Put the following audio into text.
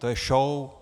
To je show.